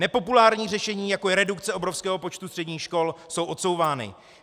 Nepopulární řešení, jako je redukce obrovského počtu středních škol, jsou odsouvána.